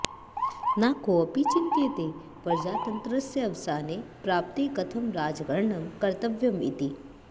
न कोऽपि चिन्तयते प्रजातन्त्रस्य अवसाने प्राप्ते कथं राजकरणं कर्तव्यम् इति